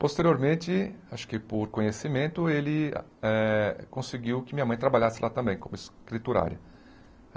Posteriormente, acho que por conhecimento, ele eh conseguiu que minha mãe trabalhasse lá também, como escriturária.